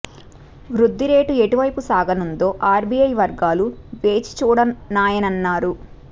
వృద్ధి రేటు ఎటు వైపు సాగనుందో ఆర్బిఐ వర్గాలు వేచి చూడనున్నాయన్నారు